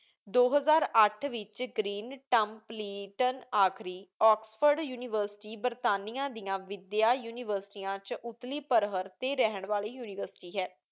ਦੋ ਹਜ਼ਾਰ ਅੱਠ ਵਿੱਚ ਗਰੀਨ ਟਮਪਲੀਟਨ ਆਖ਼ਰੀ, ਆਕਸਫ਼ੋਰਡ ਯੂਨੀਵਰਸਿਟੀ ਬਰਤਾਨੀਆ ਦੀਆਂ ਵਿੱਦਿਆ ਯੂਨੀਵਰਸਿਟੀਆਂ 'ਚ ਉਤਲੀ ਪਰਹਰਿ ਤੇ ਰਹਿਣ ਵਾਲੀ ਯੂਨੀਵਰਸਿਟੀ ਹੈ।